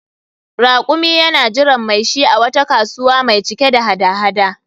Rakumi yana jiran mai shi a wata kasuwa mai cike da hada-hada